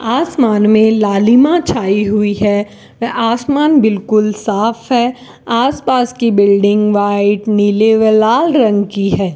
आसमान में लालिमा छाई हुई है आसमान बिल्कुल साफ है आस पास की बिल्डिंग व्हाइट नीली व लाल रंग की है।